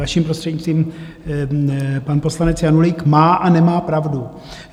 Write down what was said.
Vaším prostřednictvím, pan poslanec Janulík má a nemá pravdu.